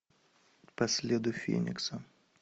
по следу феникса